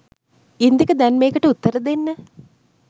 ඉන්දික දැන් මේකට උත්තර දෙන්න